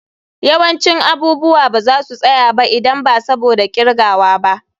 Yawancin abubuwa ba za su tsaya ba idan ba saboda kirgawa ba.